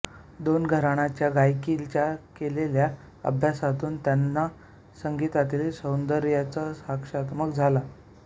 दोन घराण्यांच्या गायकीचा केलेल्या अभ्यासातून त्यांना संगीतातील सौंदर्याचा साक्षात्कार झाला